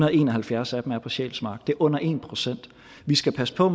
og en og halvfjerds af dem er på sjælsmark det er under en procent vi skal passe på